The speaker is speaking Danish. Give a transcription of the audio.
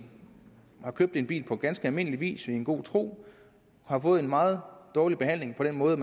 har købt en bil på ganske almindelig vis i god tro har fået en meget dårlig behandling på den måde